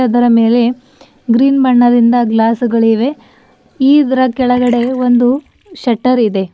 ಅದರ ಮೇಲೆ ಗ್ರೀನ್ ಬಣ್ಣದಿಂದ ಗ್ಲಾಸುಗಳಿವೆ ಈದ್ರ ಕೆಳಗೆ ಒಂದು ಶೆಟ್ಟರ್ ಇದೆ.